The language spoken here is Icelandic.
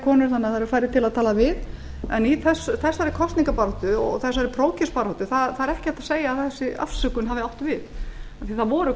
eru færri til að tala við en í þessari kosningabaráttu og í þessari prófkjörsbaráttu það er ekki hægt að segja að þessi afsökun hafi átt við af því það voru